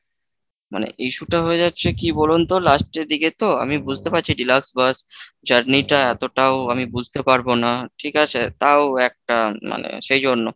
মানে issue টা হয়ে যাচ্ছে কি বলুন তো last এর দিকে তো, আমি বুঝতে পারছি যে deluxe bus journey টা এতটাও আমি বুঝতে পারবো না, ঠিক আছে তাও একটা মানে সেই জন্য।